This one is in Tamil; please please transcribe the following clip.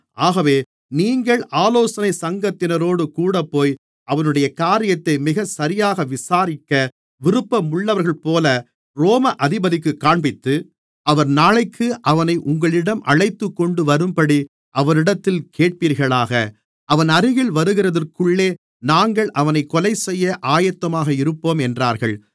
ஆகவே நீங்கள் ஆலோசனைச் சங்கத்தினரோடு கூடப்போய் அவனுடைய காரியத்தை மிக சரியாக விசாரிக்க விருப்பமுள்ளவர்கள்போல ரோம அதிபதிக்குக் காண்பித்து அவர் நாளைக்கு அவனை உங்களிடம் அழைத்துக்கொண்டுவரும்படி அவரிடத்தில் கேட்பீர்களாக அவன் அருகில் வருகிறதற்குள்ளே நாங்கள் அவனைக் கொலைசெய்ய ஆயத்தமாக இருப்போம் என்றார்கள்